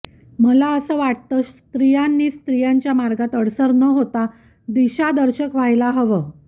मला असं वाटतं स्त्रियांनी स्त्रियांच्या मार्गात अडसर न होता दिशादर्शक व्हायला हवं